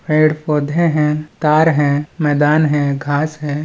पेड़-पौधे हैं तार है मैदान है घास है।